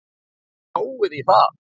Spáið í það!